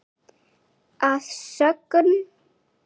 Að sögn